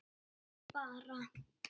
Grét bara.